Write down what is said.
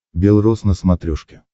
бел роз на смотрешке